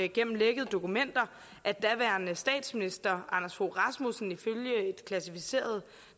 gennem lækkede dokumenter kom at daværende statsminister anders fogh rasmussen ifølge et klassificeret